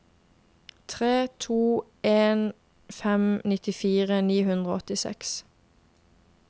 tre to en fem nittifire ni hundre og åttiseks